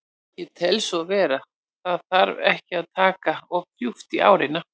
Ég tel svo vera, það þarf ekki að taka of djúpt í árina.